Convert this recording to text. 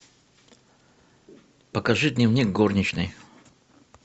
покажи дневник горничной